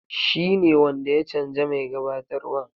Shi ne wanda ya canja mai gabatarwan.